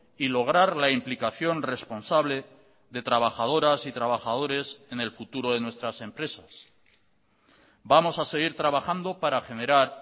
y lograr la implicación responsable de trabajadoras y trabajadores en el futuro de nuestras empresas vamos a seguir trabajando para generar